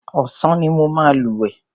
Ọ̀sán ni mo máa lúwẹ̀ẹ́.